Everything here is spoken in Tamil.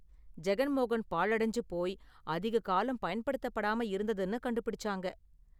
ஜெகன் மோகன் பாழ்டைஞ்சு போய் அதிக காலம் பயன்படுத்தப்படாம இருந்ததுன்னு கண்டுபிடிச்சாங்க.